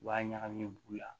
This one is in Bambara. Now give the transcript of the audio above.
U b'a ɲagami b'u la